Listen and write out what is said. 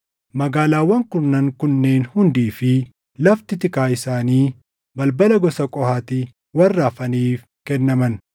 Magaalaawwan kurnan kunneen hundii fi lafti tikaa isaanii balbala gosa Qohaati warra hafaniif kennaman.